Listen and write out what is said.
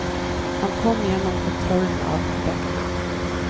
Han kom igjennom kontrollen av dekkene.